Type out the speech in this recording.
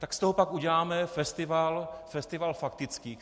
Tak z toho pak uděláme festival faktických.